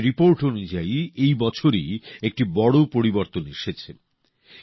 একটি রিপোর্ট অনুযায়ী এ বছরই একটি বড় পরিবর্তন এসেছে